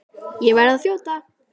Ég verð að þjóta!